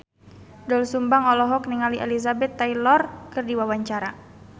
Doel Sumbang olohok ningali Elizabeth Taylor keur diwawancara